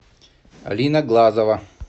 алина глазова